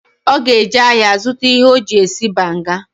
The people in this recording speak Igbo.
Oga eje ahia zuta ihe oji esi banga.